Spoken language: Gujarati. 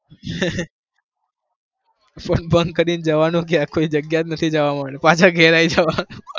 bunk કરી જવાનું ક્યાં કોઈ જગ્યા જ નહી પાછા ઘરે આવી જવાનું